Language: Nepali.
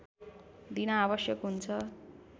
दिन आवश्यक हुन्छ